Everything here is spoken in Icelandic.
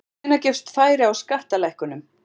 Hvenær gefst færi á skattalækkunum?